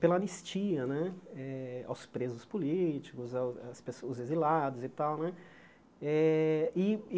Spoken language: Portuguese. pela anistia né eh aos presos políticos, aos às pe aos exilados e tal né. Eh e e